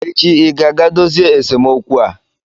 Echi ị ga-aga dozie esemokwu a!